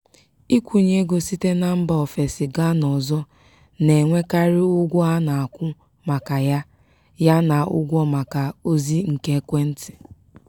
ịkwụnye ego site na mba ofesi gaa n'ọzọ na-enwekarị ụgwọ a na-akwụ maka ya ya na ụgwọ maka ozị nke ekwentị.